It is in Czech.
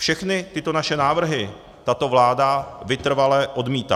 Všechny tyto naše návrhy tato vláda vytrvale odmítá.